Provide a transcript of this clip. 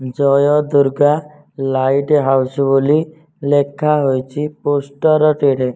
ଜୟ Durga lighthouse ବୋଲି ଲେଖାହୋଇଚି poster ଟିରେ।